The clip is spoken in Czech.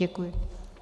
Děkuji.